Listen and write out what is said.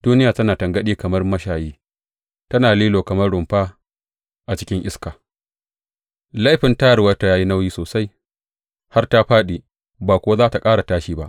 Duniya tana tangaɗi kamar mashayi, tana lilo kamar rumfa a cikin iska; laifin tayarwarta ya yi nauyi sosai har ta fāɗi ba kuwa za tă ƙara tashi ba.